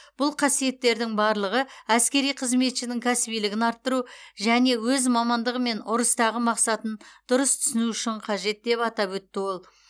бұл қасиеттердің барлығы әскери қызметшінің кәсібилігін арттыру және өз мамандығы мен ұрыстағы мақсатын дұрыс түсіну үшін қажет деп атап өтті ол